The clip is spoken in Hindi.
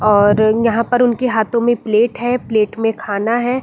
और यहाँ पर उनके हाथों में प्लेट है। प्लेट में खाना है।